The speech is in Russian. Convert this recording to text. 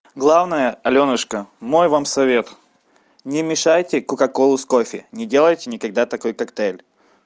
главное алёнушка мой вам совет не мешайте кока ко лай с кофе не делайте никогда такой коктейль